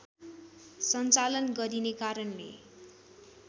सञ्चालन गरिने कारणले